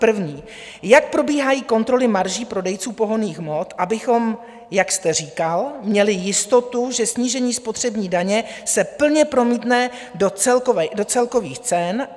První: Jak probíhají kontroly marží prodejců pohonných hmot, abychom, jak jste říkal, měli jistotu, že snížení spotřební daně se plně promítne do celkových cen?